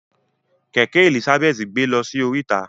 Kẹkẹ Elizabeth gbe lọsí oríta.